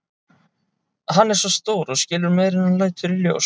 Hann er svo stór og skilur meira en hann lætur í ljós.